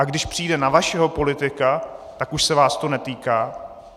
A když přijde na vašeho politika, tak už se vás to netýká?